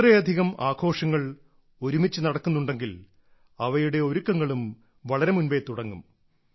ഇത്രയധികം ആഘോഷങ്ങൾ ഒരുമിച്ച് നടക്കുന്നുണ്ടെങ്കിൽ അവയുടെ ഒരുക്കങ്ങളും വളരെ മുമ്പേ തുടങ്ങും